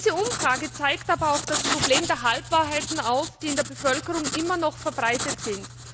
Diese Umfrage zeigt aber auch das Problem der Halbwahrheiten auf, die in der Bevölkerung immer noch verbreitet sind.